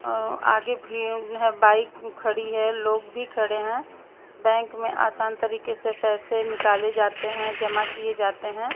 अ आगे भीन है बाइक खड़ी है लोग भी खड़े हैं बैंक में आसान तरीके से पैसे निकाले जाते हैं जमा किए जाते हैं।